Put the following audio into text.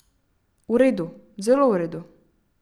V redu, zelo v redu.